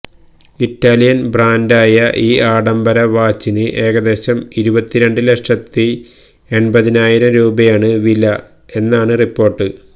Italian ബ്രാന്ഡായ ഈ ആഡംബര വാച്ചിന് ഏകദേശം ഇരുപത്തിരണ്ട് ലക്ഷത്തി എണ്പതിനായിരം രൂപയാണ് വില എന്നാണ് റിപ്പോര്ട്ട്